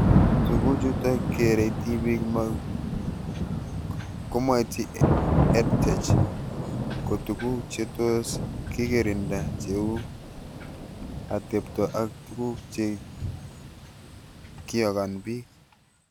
Tukuchutok kerei tipik komaitchi EdTech ko tuguk che tos kekirinda cheu atepto ak tuguk che kikoyan pik